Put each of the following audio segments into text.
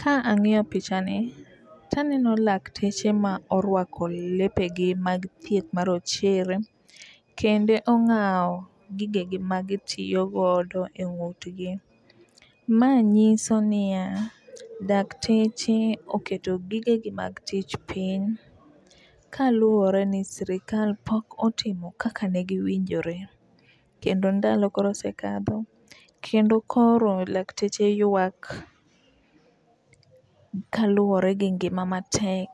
Ka ang'iyo picha ni taneno lakteche ma orwako lepegi mag thieth marochere kendo ong'awo gige gi magitiyo godo e ng'utgi. Mae nyiso niya, dakteche oketo gige gi mag tich piny kaluwore ni sirikal pok otimo kaka ne giwinjore. Kendo ndalo koro osekadho kendo koro laktche ywak kaluwore gi ngima matek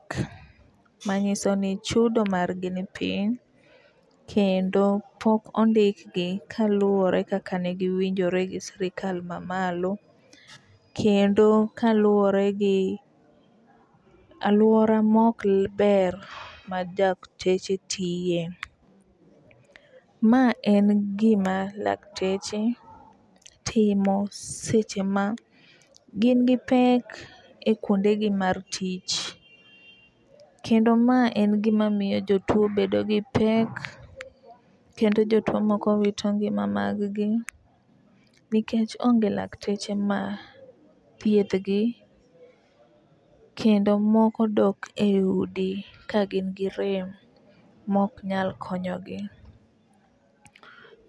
manyiso ni chudo mar gi ni piny kendo pok ondik gi kaluwore kaka ne giwinjore gi sirikal mamalo, kendo kaluwore gi aluora mok le ber ma dakteche tiye. Ma en gima lakteche timo seche ma gin gi pek e kuonde gi mar tich kendo mae n gima miyo jotuo bedo gi pek kendo jotuo moko wito ngima mag gi nikech onge lakteche ma thiedhgi kendo moko dok e udi kagin gi rem mok nyal konyogi.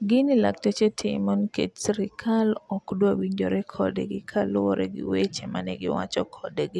Gini lakteche timo nikech sirikal ok dwar winjore kodgi kaluwore gi weche mane giwacho kodgi.